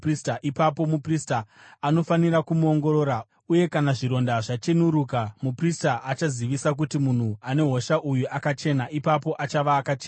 Ipapo muprista anofanira kumuongorora uye kana zvironda zvachenuruka, muprista achazivisa kuti munhu ane hosha uyu akachena, ipapo achava akachena.